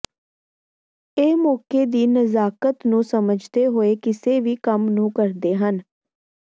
ਇਹ ਮੌਕੇ ਦੀ ਨਜਾਕਤ ਨੂੰ ਸੱਮਝਦੇ ਹੋਏ ਕਿਸੇ ਵੀ ਕੰਮ ਨੂੰ ਕਰਦੇ ਹਨ